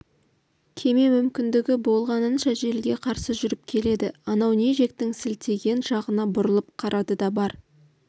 кеме мүмкіндігі болғанынша желге қарсы жүріп келеді анау не жектің сілтеген жағына бұрылып қарады да бар